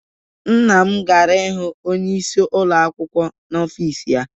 Nna m gara ị hụ Onyeisi ụlọ akwụkwọ n'ọfịs ya.